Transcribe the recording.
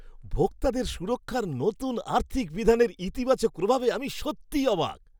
ভোক্তাদের সুরক্ষার নতুন আর্থিক বিধানের ইতিবাচক প্রভাবে আমি সত্যিই অবাক!